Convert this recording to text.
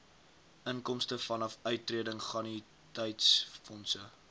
inkomste vanaf uittredingannuïteitsfondse